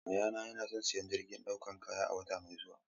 Yayana yana son siyan jirgin dakon kaya a wata mai zuwa.